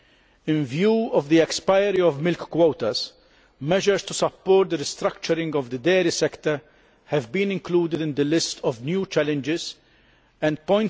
In view of the expiry of milk quotas, measures to support the restructuring of the dairy sector have been included in the list of new challenges and EUR